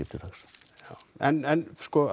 en